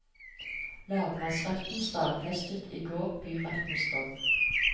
Lagmannsretten stadfestet i går byrettens dom.